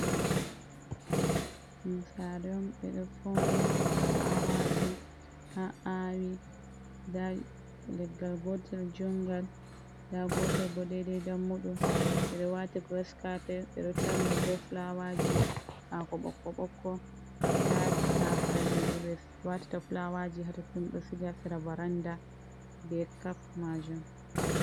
Sare on ɓe ɗo fauni fulawaji a awi nda leggal gotel jungal nda gotel bo deidai dammuɗum ɓe ɗo wati giras cope ɓe ɗo tarniɗum be fulawaji hako ɓokko-ɓokk, ta tasaje ɓe watata fulawaji hatottom ɗo siga ha sera varanda be cap majun.